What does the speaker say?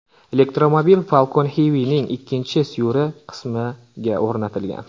Elektromobil Falcon Heavy’ning ikkinchi suyri qismiga o‘rnatilgan.